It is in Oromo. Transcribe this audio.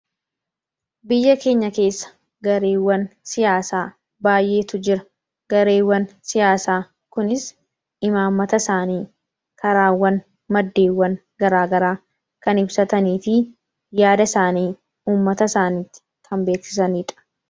biyya keenya keessa gareewwan siyaasaa baay'eetu jira gareewwan siyaasaa kunis imaammata isaanii karaawwan maddeewwan garaagaraa kan ibsataniifi yaada isaanii ummata isaaniitti tanbeeksisaniidha